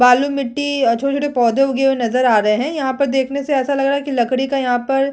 बालू-मिट्टी अ छोटे-छोटे पौधे उगे हुए नज़र आ रहे है यहाँ पर देखने से ऐसा लग रहा है की लकड़ी का यहाँ पर--